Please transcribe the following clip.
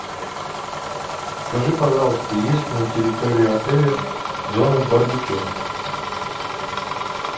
скажи пожалуйста есть ли на территории отеля зона барбекю